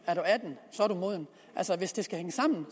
hvis det skal hænge sammen